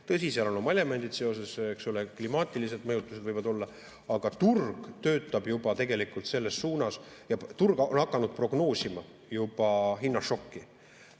Tõsi, seal on oma elemendid sees, klimaatilised mõjutused võivad olla, aga turg töötab tegelikult selles suunas ja turg on hakanud prognoosima juba hinnašokki.